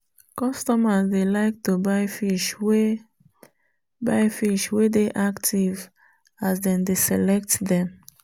customers dey like to buy fish wey buy fish wey dey active as them dey select them.